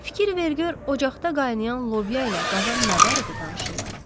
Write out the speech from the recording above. Fikir ver gör ocaqda qaynayan lobya ilə qazan nə barədə danışırlar.